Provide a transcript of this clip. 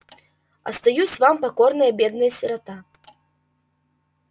остаюсь вам покорная бедная сирота